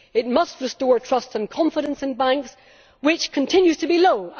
it must restore trust and confidence in banks, which continue to be low.